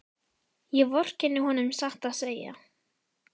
Ég vorkenni honum satt að segja.